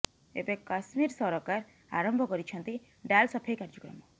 ଏବେ କଶ୍ମୀର ସରକାର ଆରମ୍ଭ କରିଛନ୍ତି ଡାଲ୍ ସଫେଇ କାର୍ଯ୍ୟକ୍ରମ